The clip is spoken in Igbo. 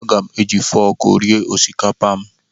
Aga m eji fọọkụ eri osikapa m.